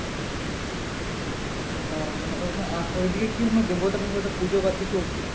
ও মানে ওইখানে ওইদিকে কি কোন দেবতা দেবতা পূজো বা কি কিছু কি?